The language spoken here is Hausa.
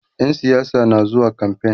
ƴan siyasa na zuwa kamfain